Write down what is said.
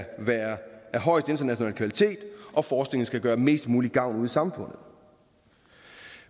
højeste internationale kvalitet og forskningen skal gøre mest mulig gavn ude i samfundet